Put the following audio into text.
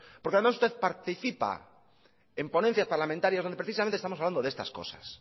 porque además usted participa en ponencias parlamentarias donde precisamente estamos hablando de estas cosas